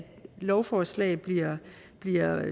lovforslag bliver